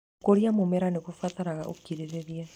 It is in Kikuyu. Gũkũria mũmera nĩ gũbataraga ũkirĩrĩria.